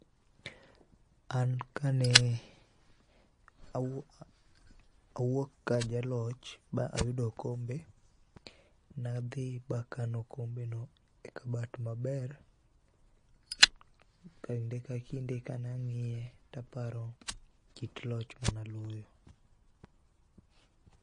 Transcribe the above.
An kane awuok ka ajaloch, ba ayudo okombe ne adhi bakano okombeno e kabat maber kinde kinde kane ang'iye to aparo kit loch mane aloyo.